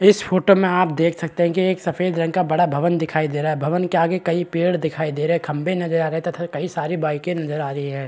इस फोटो में आप देख सकते है की एक सफ़ेद रंग का एक बड़ा भवन दिखाई दे रहा है भवन के आगे कई पेड़ दिखाई दे रहे है खम्बे नज़र आ रहे है तथा कई सारी बाइके नज़र आ रही है।